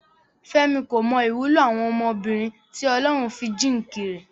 Fẹ́mi kò mọ ìwúlò àwọn ọmọbìnrin tí Ọlọ́run fi jíǹkì rẹ̀.